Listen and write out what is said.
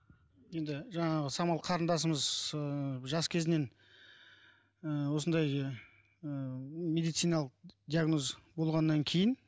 енді жаңағы самал қарындасымыз ыыы жас кезінен ыыы осындай ы медициналық диагноз болғаннан кейін